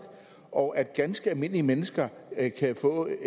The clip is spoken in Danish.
og sådan at ganske almindelige mennesker kan få en